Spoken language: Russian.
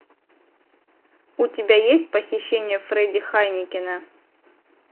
у тебя есть похищение фредди хайнекена